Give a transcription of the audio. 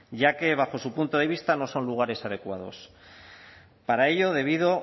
ya que bajo su punto de vista no son lugares adecuados para ello debido